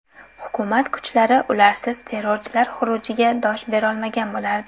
Hukumat kuchlari ularsiz terrorchilar xurujiga dosh berolmagan bo‘lardi.